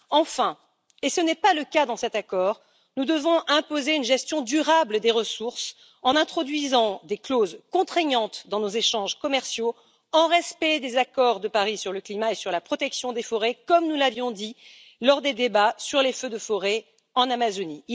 Enfin, et ce n'est pas le cas dans cet accord, nous devons imposer une gestion durable des ressources en introduisant des clauses contraignantes dans nos échanges commerciaux, en respect des accords de Paris sur le climat et sur la protection des forêts, comme nous l'avions dit lors des débats sur les feux de forêt en Amazonie.